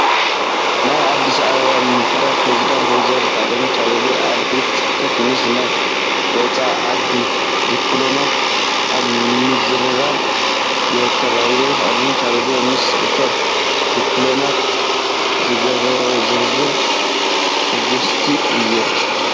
ናይ ኣዲስ አበባ ምምሕዳር ፕሬዚዳንት ወ/ሮ ኣዳነች ኣቤቤ ኣብ ቤት ፅሕፈተን ምስ ናይ ወፃኢ ዓዲ ድፕሎማት ኣብ ምዝርራብ ይርከባ። ወ/ሮ ኣዳነች ኣቤቤ ምስ እቶም ዲፕሎማት ዝገበረኦ ዝርርብ ሕጉስቲ እየን።